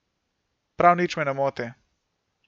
Prav nič me ne moti.